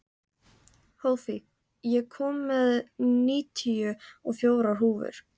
Hófí, ég kom með níutíu og fjórar húfur!